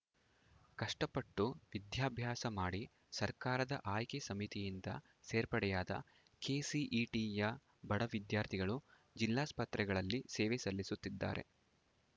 ಕಷ್ಟಪಟ್ಟು ವಿದ್ಯಾಭಾಸ ಮಾಡಿ ಸರ್ಕಾರದ ಆಯ್ಕೆ ಸಮಿತಿಯಿಂದ ಸೇರ್ಪಡೆಯಾದ ಕೆಸಿಇಟಿಯ ಬಡ ವಿದ್ಯಾರ್ಥಿಗಳು ಜಿಲ್ಲಾಸ್ಪತ್ರೆಗಳಲ್ಲಿ ಸೇವೆ ಸಲ್ಲಿಸುತ್ತಿದ್ದಾರೆ